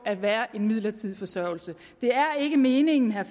at være en midlertidig forsørgelse det er ikke meningen at